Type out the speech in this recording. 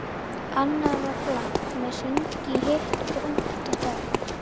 Annað var blátt með hring í, hitt brúnt og dökkt.